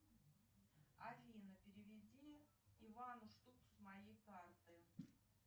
афина переведи ивану штуку с моей карты